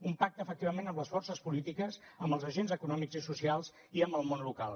un pacte efectivament amb les forces polítiques amb els agents econòmics i socials i amb el món local